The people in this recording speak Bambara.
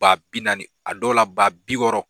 Ba bi naani a dɔw la ba bi wɔɔrɔ